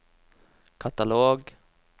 katalog